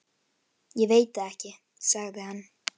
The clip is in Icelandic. Ég veit það ekki, sagði hann.